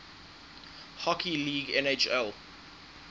hockey league nhl